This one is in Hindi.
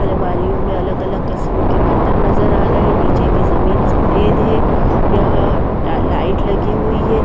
अमारियों में अलग अलग किस्म के बर्तन नजर आ रहे हैं नीचे की जमीन सफेद है यहाँ लाइट लगी हुई है।